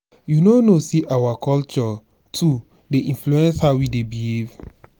you no know sey our culture too dey influence how we dey behave?